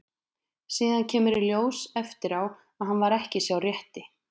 Síðan kemur í ljós eftir á að hann var ekki sá rétti.